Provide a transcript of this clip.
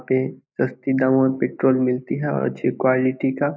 यहां पे सस्ती दामो मे पेट्रोल मिलती है और अच्छी क्वालिटी का।